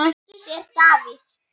Sonur Baldurs er Davíð.